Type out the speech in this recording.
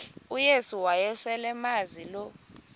uyesu wayeselemazi lo